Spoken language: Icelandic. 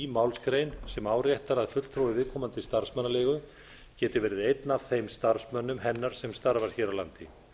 málsgrein sem áréttar að fulltrúi viðkomandi starfsmannaleigu geti verið einn af þeim starfsmönnum hennar sem starfar hér á landi